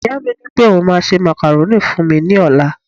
ìyá mi ni pe oun ma se macaroni fún mi ní ọlá